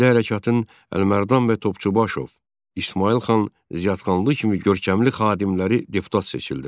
Milli hərəkatın Əlimərdan bəy Topçubaşov, İsmayıl xan Ziyadxanlı kimi görkəmli xadimləri deputat seçildilər.